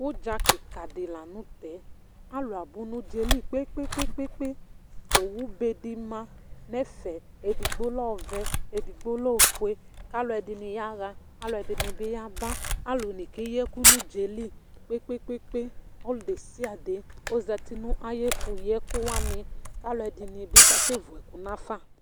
Udza kika di la nu tɛ, alu abu nu udzaɛli kpekpekpé, owu bé di ma nu ɛfɛ, edigbo lɛ ɔvɛ, edigbo lɛ ofue, k'aluɛdini yahã k'aluɛdini yabã, aluni kayi ɛku nu udzaɛli kpekpkekpe ɔlu desisde ɔzati nu ayi ɛfuyi ɛkuwa ni k'aluɛdini bi ka sɛ vú ɛku n'afa